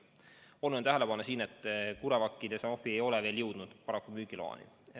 Oluline on tähele panna, et CureVac ja Sanofi ei ole paraku veel jõudnud müügiloani.